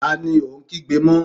Ta ni ò ń kígbe mọ́?